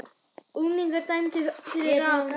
Unglingar dæmdir fyrir rán